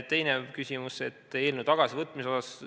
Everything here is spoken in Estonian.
Teine küsimus on eelnõu tagasivõtmise kohta.